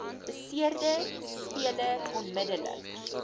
beseerde speler onmiddellik